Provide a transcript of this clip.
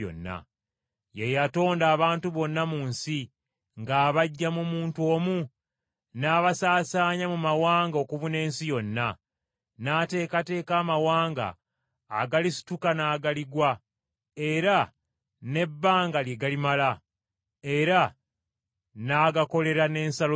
Ye yatonda abantu bonna mu nsi, ng’abaggya mu muntu omu, n’abasaasaanya mu mawanga okubuna ensi yonna. N’ateekateeka amawanga agalisituka n’agaligwa, era n’ebbanga lye galimala. Era n’agakolera n’ensalo zaago.